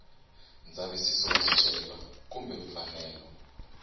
ndzavisiso wa swicelwa kumbe mfanelo